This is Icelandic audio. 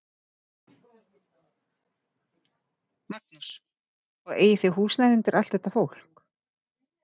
Magnús: Og eigið þið húsnæði undir allt þetta fólk?